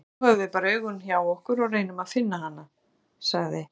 Nú höfum við bara augun hjá okkur og reynum að finna hana, sagði